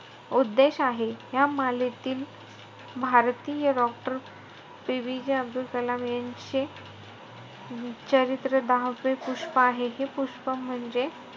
उद्देश आहे. ह्या मालेतील भारतीय doctor PBJ अब्दल कलाम यांचे चरित्र दहावे पुष्प आहे. हे पुष्प म्हणजे,